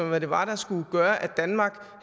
hvad det var der skulle gøre at danmark